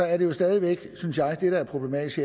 er det jo stadig væk synes jeg problematisk